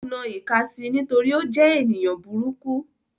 Ó na ìka si nítorí ó jẹ́ èèyàn burúkú